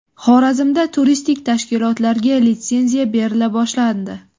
Xorazmda turistik tashkilotlarga litsenziya berila boshlandi.